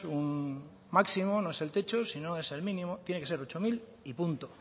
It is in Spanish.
un máximo no es el techo sino es el mínimo tiene que ser ocho mil y punto